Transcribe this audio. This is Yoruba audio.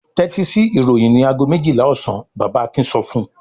"Tẹ́tí sí ìròyìn ní ago méjìlá ọ̀sán!" Bàbá Akin sọ fún un.